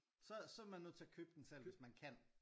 Så så er man nødt til at købe den selv hvis man kan